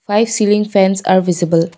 five ceiling fans are visible.